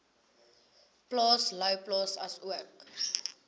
plaas louwplaas asook